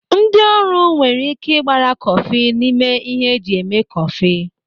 Ndị ọrụ nwere ị́ké ịgbara kọfị n'ime ihe eji eme kọfị.